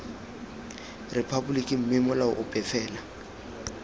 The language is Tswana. rephaboliki mme molao ope fela